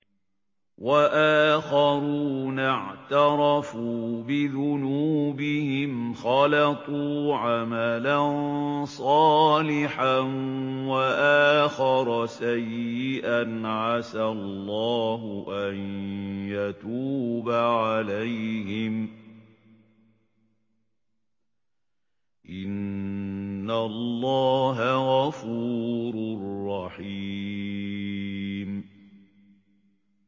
وَآخَرُونَ اعْتَرَفُوا بِذُنُوبِهِمْ خَلَطُوا عَمَلًا صَالِحًا وَآخَرَ سَيِّئًا عَسَى اللَّهُ أَن يَتُوبَ عَلَيْهِمْ ۚ إِنَّ اللَّهَ غَفُورٌ رَّحِيمٌ